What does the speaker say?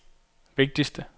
vigtigste